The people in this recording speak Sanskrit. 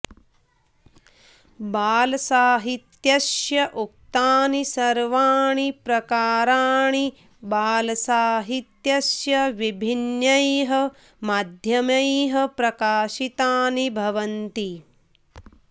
बालसाहित्यस्य उक्तानि सर्वाणि प्रकाराणि बालसाहित्यस्य विभिन्नैः माध्यमैः प्रकाशितानि भवन्ति